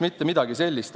Mitte midagi sellist.